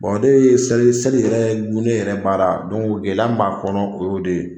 ne ye seli seli yɛrɛ gunnen yɛrɛ baara gɛlɛya min b'a kɔnɔ o y'o de ye.